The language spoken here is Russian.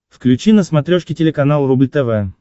включи на смотрешке телеканал рубль тв